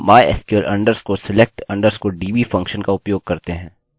यह ठीक 1 पैरामीटर लेता है और वह आपके डेटाबेस का नाम है